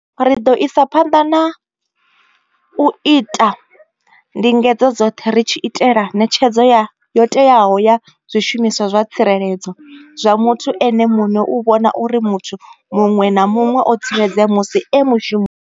Ri ḓo isa phanḓa u ita ndingedzo dzoṱhe ri tshi itela ṋetshedzo yo teaho ya zwishumiswa zwa tsireledzo zwa muthu ene muṋe u vhona uri muthu muṅwe na muṅwe o tsireledzea musi e mushumoni.